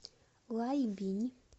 лайбинь